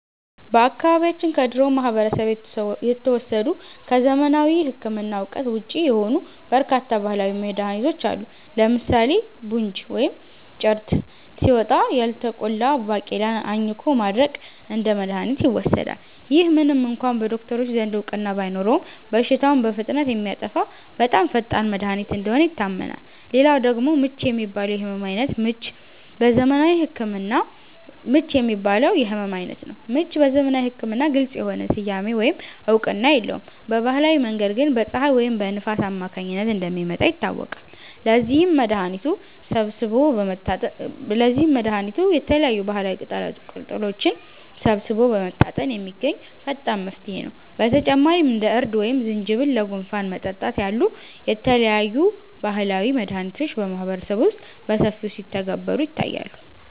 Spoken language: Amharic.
በአካባቢያችን ከድሮው ማህበረሰብ የተወሰዱ፣ ከዘመናዊ ሕክምና እውቀት ውጪ የሆኑ በርካታ ባህላዊ መድኃኒቶች አሉ። ለምሳሌ 'ቡንጅ' (ወይም ጭርት) ሲወጣ፣ ያልተቆላ ባቄላን አኝኮ ማድረቅ እንደ መድኃኒት ይወሰዳል። ይህ ምንም እንኳ በዶክተሮች ዘንድ እውቅና ባይኖረውም፣ በሽታውን በፍጥነት የሚያጠፋ በጣም ፈጣን መድኃኒት እንደሆነ ይታመናል። ሌላው ደግሞ 'ምች' የሚባለው የሕመም ዓይነት ነው። ምች በዘመናዊ ሕክምና ግልጽ የሆነ ስያሜ ወይም እውቅና የለውም፤ በባህላዊ መንገድ ግን በፀሐይ ወይም በንፋስ አማካኝነት እንደሚመጣ ይታወቃል። ለዚህም መድኃኒቱ የተለያዩ ባህላዊ ቅጠላቅጠሎችን ሰብስቦ በመታጠን የሚገኝ ፈጣን መፍትሄ ነው። በተጨማሪም እንደ እርድ ወይም ዝንጅብል ለጉንፋን መጠጣት ያሉ የተለያዩ ባህላዊ መድኃኒቶች በማህበረሰቡ ውስጥ በሰፊው ሲተገበሩ ይታያሉ